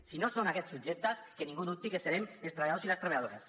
si no són aquests subjectes que ningú dubti que serem els treballadors i les treballadores